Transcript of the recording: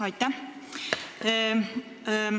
Aitäh!